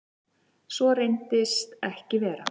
Svo reynist ekki vera.